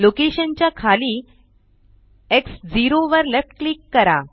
location च्या खाली X 0 वर लेफ्ट क्लिक करा